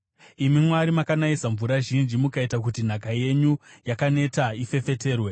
Imi Mwari, makanayisa mvura zhinji; mukaita kuti nhaka yenyu yakaneta ifefeterwe.